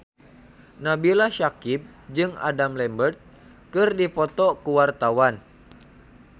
Nabila Syakieb jeung Adam Lambert keur dipoto ku wartawan